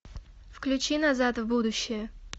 включи назад в будущее